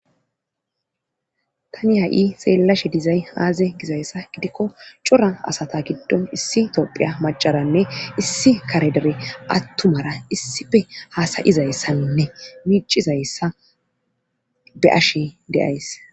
tani ha7i seellashe dizay aaze gizayssa gidikko cora asata giddon issi tophiya macaranne issi kare dere attumara issife haasayizayssaninne miicizayssa be7ash de'ays